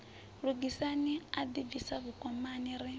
lugisani a ḓibvisa vhukomani ri